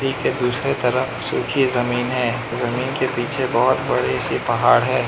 दूसरे तरफ सुखी जमीन है जमीन के पीछे बहोत बड़ी सी पहाड़ है।